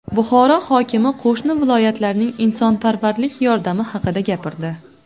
Buxoro hokimi qo‘shni viloyatlarning insonparvarlik yordami haqida gapirdi.